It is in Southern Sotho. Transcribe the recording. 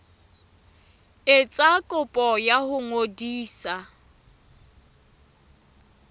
etsa kopo ya ho ngodisa